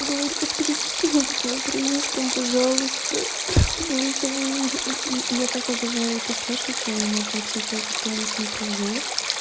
говорю расскажите что-нибудь на украинском пожалуйста голосовые я так обожаю это слушать я не могу типа я постоянно смотрю ю